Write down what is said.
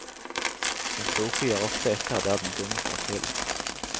Den kloke gir ofte etter der den dumme slår til.